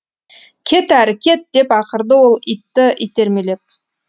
кет әрі кет деп ақырды ол итті итермелеп